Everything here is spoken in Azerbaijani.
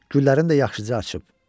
Güllərim də yaxşıca açıb.